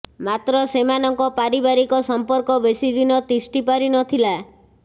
ମାତ୍ର ସେମାନଙ୍କ ପାରିବାରିକ ସମ୍ପର୍କ ବେଶୀ ଦିନ ତିଷ୍ଠି ପାରିନଥିଲା